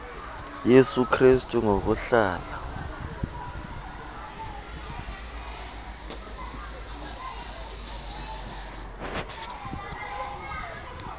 yesu krestu ngokuhlala